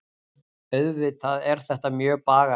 Auðvitað er þetta mjög bagalegt